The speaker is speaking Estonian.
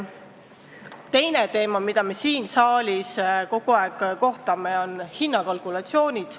Teine teema, mis siin saalis kogu aeg üles tõuseb, on hinnakalkulatsioonid.